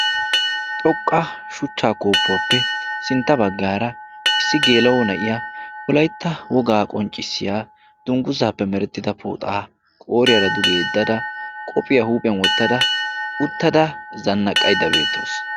xoqqa shuchchaa kooppuwaappe sintta baggaara issi geelau na'iya wolaytta wogaa qonccissiya dungguzzaappe merettida pooxaa qooriyaara duge yeddada qopphiyaa huuphiyan wottada uttada zannaqqaydda beettaasu